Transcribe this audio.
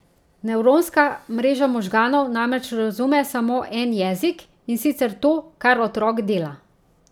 Nevronska mreža možganov namreč razume samo en jezik, in sicer to, kar otrok dela.